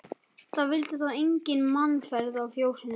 Það vildi þá enga mannaferð í fjósinu.